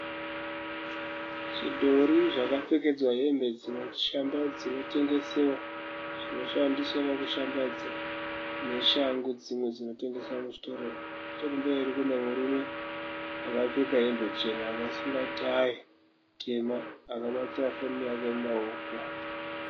Zvidhori zvakapfekedzewa hembe dzinoshambadzwa dzinotengesewa . Zvinoshandiswa pakushambadzwa neshangu dzimwe dzinotengeswa muchitoro ichi . Nechekumberi kune murume akapfeka hembe chena akasunga tayi tema akabata foni yake mumaoko.